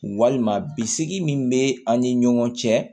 Walima bisigi min bɛ an ni ɲɔgɔn cɛ